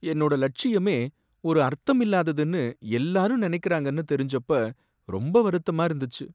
என்னோட லட்சியமே ஒரு அர்த்தமில்லாததுனு எல்லாரும் நினைக்கிறாங்கன்னு தெரிஞ்சப்ப ரொம்ப வருத்தமா இருந்துச்சு.